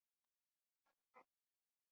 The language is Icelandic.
Hann ætlaði.